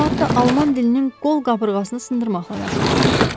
Bir saatdır alman dilinin qol qabırğasını sındırmaqla məşğulam.